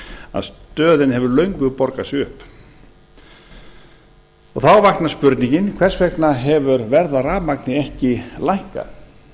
að stöðin hefur löngu borgað sig upp þá vaknar spurningin hvers vegna hefur verð á rafmagni ekki lækkað